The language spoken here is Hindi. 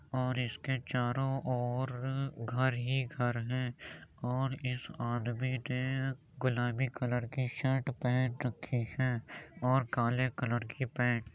और इसके चारो ओर घर ही घर हैं और इस आदमी ने गुलाबी कलर की सट पहन रखी है और काले कलर की पेंट --